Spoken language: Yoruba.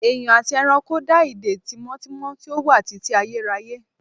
Èèyàn àti ẹranko dá ìdè tímọ́tímọ́ tí ó wà títí ayérayé